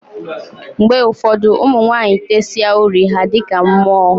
Mgbe ụfọdụ, ụmụ nwanyị tesịa uri ha a dịka mmụọ.